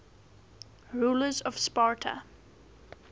rulers of sparta